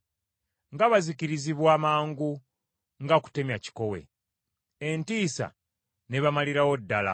Nga bazikirizibwa mangu nga kutemya kikowe! Entiisa n’ebamalirawo ddala!